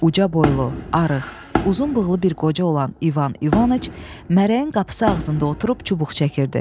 Uca boylu, arıq, uzun bığlı bir qoca olan İvan İvaniç mərəyin qapısı ağzında oturub çubuq çəkirdi.